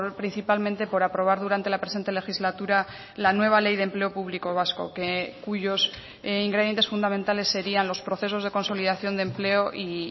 principalmente por aprobar durante la presente legislatura la nueva ley de empleo público vasco que cuyos ingredientes fundamentales serían los procesos de consolidación de empleo y